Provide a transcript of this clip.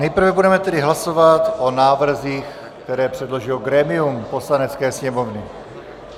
Nejprve budeme tedy hlasovat o návrzích, které předložilo grémium Poslanecké sněmovny.